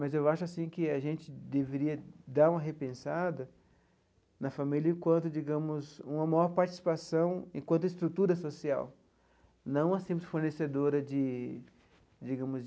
Mas eu acho assim que a gente deveria dar uma repensada na família enquanto digamos uma maior participação, enquanto estrutura social, não a simples fornecedora de digamos.